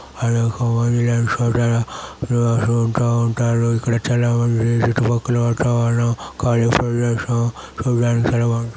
అనేకమంది నివాసం ఉంటూ ఉంటారు ఇక్కడ చాల మంది చుట్టుపక్కల వాళ్ళు కాళీ ప్రదేశం --